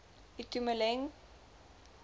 itumeleng pooe